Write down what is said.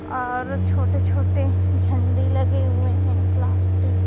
और छोटे छोटे झंडे लगे हुए हैं प्लास्टिक --